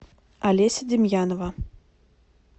олеся демьянова